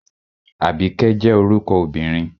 Àbíkẹ́ jẹ́ orúkọ obìnrin